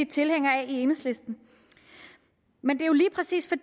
tilhængere af i enhedslisten men jo lige præcis